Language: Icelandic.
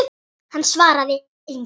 Hann svaraði engu.